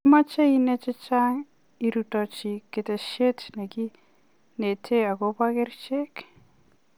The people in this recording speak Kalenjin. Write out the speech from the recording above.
Imachee inae chechang irutochii ketesiet nekinetee akopo kerichek.